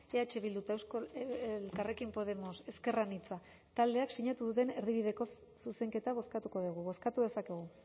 eh bildu eta elkarrekin podemos ezker anitza taldeek sinatu duten erdibideko zuzenketa bozkatuko dugu bozkatu dezakegu